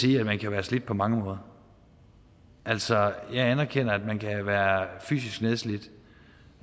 sige at man kan være slidt på mange måder altså jeg anerkender at man kan være fysisk nedslidt